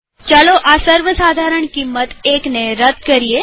ચાલો આ સર્વસાધારણ કિંમત ૧ ને રદ કરીએ